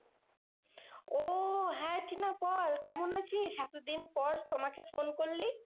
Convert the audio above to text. ওহ হ্যাঁ টিনা বল কেমন আছিস? এতদিন পর সোমা কে ফোন করলি?